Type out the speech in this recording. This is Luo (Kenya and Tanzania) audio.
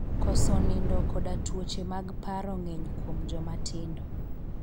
Koso nindo koda tuoche mag paro ng'eny kuom joma tindo.